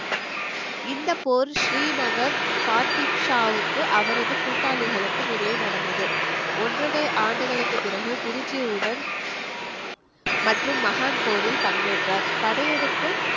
இந்தப் போர் ஸ்ரீநகர் அவரது கூட்டாளிகளுக்கும் இடையே நடந்தது ஒன்றரை ஆண்டுகளுக்குப் பிறகு குருஜியுடன் மற்றும் போரில் பங்கேற்றார் படையெடுக்கும்